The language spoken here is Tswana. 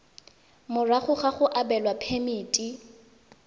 morago ga go abelwa phemiti